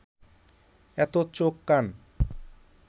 এত চোখ কান